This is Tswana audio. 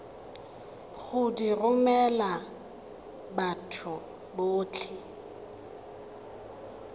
go di romela batho botlhe